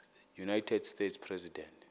united states president